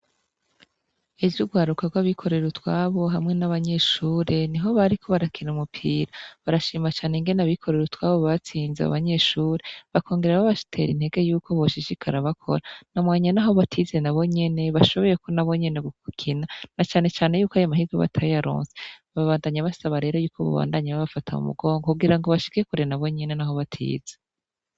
Ejo urwaruka rw'abikorera utwabo hamwe nabanyeshure niho bariko barakina umupira, barashima cane ingene abikorera utwabo batsize abo banyeshure bakogera babatera intenge yuko boshishikara bakora naho batize nabo nyene bashoboye gukina na canecane yuko ayo mahirwe batayaronse, babandanya basaba rero yuko bobandanya babafata mu mugongo kugira bashike kure nabo nyene naho batize.